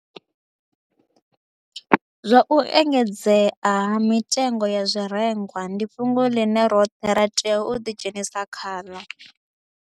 Zwa u engedzea ha mitengo ya zwirengwa ndi fhungo ḽine roṱhe ra tea u ḓidzhenisa khaḽo.